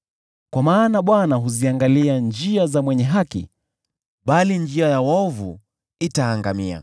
Kwa maana Bwana huziangalia njia za mwenye haki, bali njia ya waovu itaangamia.